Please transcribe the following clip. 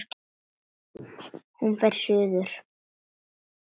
Hún fer suður.